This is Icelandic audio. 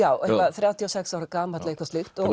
þrjátíu og sex ára gamall eitthvað slíkt